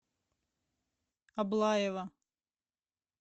аблаева